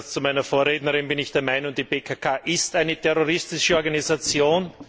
Im Gegensatz zu meiner Vorrednerin bin ich der Meinung Die PKK ist eine terroristische Organisation.